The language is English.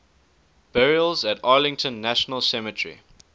burials at arlington national cemetery